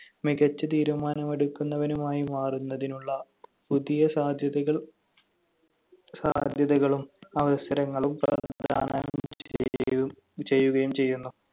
മികച്ച തീരുമാനമെടുക്കുന്നവനുമായി മാറുന്നതിനുള്ള പുതിയ സാദ്ധ്യതകൾ സാധ്യതകളും അവസരങ്ങളും പ്രദാനം ചെയ്യു~ ചെയ്യുകയും ചെയ്യുന്നു.